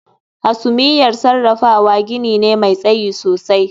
Hasumiyar sarrafawa gini ne mai tsayi sosai